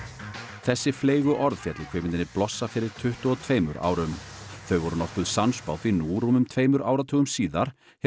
þessi fleygu orð féllu í kvikmyndinni blossa fyrir tuttugu og tveimur árum þau voru nokkuð sannspá því nú rúmum tveimur áratugum síðar hefur